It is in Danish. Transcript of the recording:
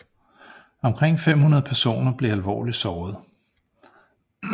Omkring 500 personer blev alvorligt såret